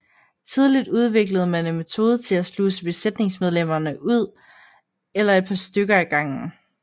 Tidligt udviklede man en metode til at sluse besætningsmedlemmerne ud en eller et par stykker ad gangen